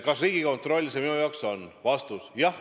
Kas Riigikontroll see uus tase minu arvates on?